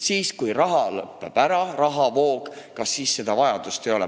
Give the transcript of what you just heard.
Kui rahavoog lõpeb ära, kas siis seda vajadust enam ei ole?